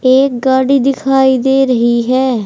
एक गाड़ी दिखाई दे रही है।